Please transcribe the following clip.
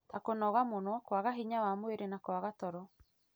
ta kũnoga mũno, ruo rwa hinya wa mwĩrĩ, na kwaga toro.